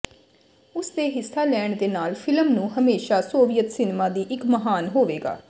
ਉਸ ਦੇ ਹਿੱਸਾ ਲੈਣ ਦੇ ਨਾਲ ਫਿਲਮ ਨੂੰ ਹਮੇਸ਼ਾ ਸੋਵੀਅਤ ਸਿਨੇਮਾ ਦੀ ਇੱਕ ਮਹਾਨ ਹੋਵੇਗਾ